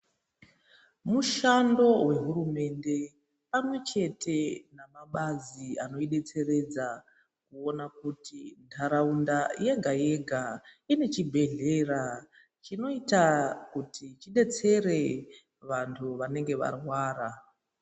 Mushando wohurumende pamwe chete namabazi anoidetseredza kuona kuti ntaraunda yega-yega ine chibhedhlera chinoita kuti chidetsere vantu vanenge varwara.